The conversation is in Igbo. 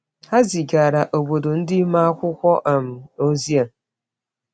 Ha zigara obodo ndị ime akwụkwọ um ozi a.